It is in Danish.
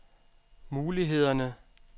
mulighederne